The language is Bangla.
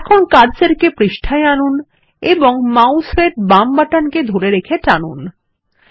এখন কার্সর কে পৃষ্ঠায় আনুন এবং মাউস এর বাম বাটনকে ধরে রেখে টানুন